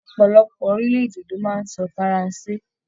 Ọpọlọpọ orilẹ-èdè ló máa n sọ faransé.